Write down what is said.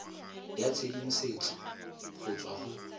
ya tshedimosetso go tswa go